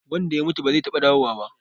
Wanda ya mutu ba zai taɓa dawowa ba.